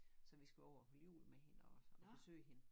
Så vi skulle over holde jul med hende og besøge hende